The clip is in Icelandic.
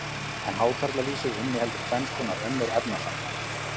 en hákarlalýsið inniheldur tvenns konar önnur efnasambönd